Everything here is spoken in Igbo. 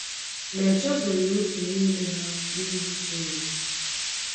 Ma e chezọghị otu n'ime ha n'ihu Chineke....